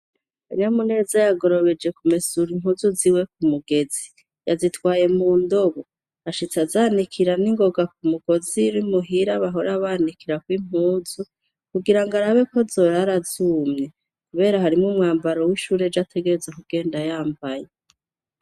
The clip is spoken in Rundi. Kanayamuneza yagorobeje kumesura impuzu ziwe k'umugezi yazitwaye mundobo yashitse azanikira ningoga kumugozi urimuhira bahora banikirako impuzu kugira ngo arabe ko zorara zumye kubera harimwo umwambaro wishuri ejo ategerezwa kugenda yambaye .